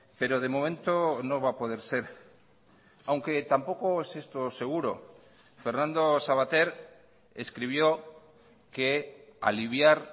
pero de momento no va a poder ser aunque tampoco es esto seguro fernando savater escribió que aliviar